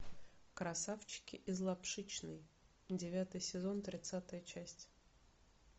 красавчики из лапшичной девятый сезон тридцатая часть